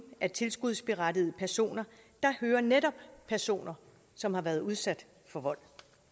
af tilskudsberettigede personer hører netop personer som har været udsat for vold